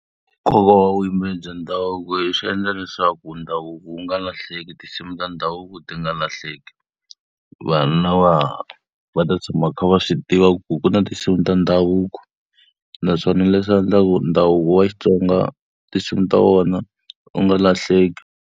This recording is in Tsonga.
Nkoka wa vuyimbeleri bya ndhavuko swi endla leswaku ndhavuko wu nga lahleki tinsimu ta ndhavuko ti nga lahleki. Vana va ta tshama va kha va swi tiva ku ku na tinsimu ta ndhavuko, naswona leswi swi endla ku ndhavuko wa Xitsonga tinsimu ta wona wu nga lahleki.